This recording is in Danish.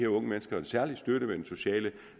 unge mennesker en særlig støtte med den sociale